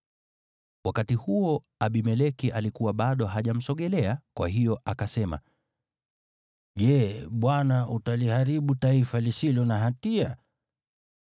Wakati huo Abimeleki alikuwa bado hajamsogelea, kwa hiyo akasema, “Je, Bwana utaliharibu taifa lisilo na hatia?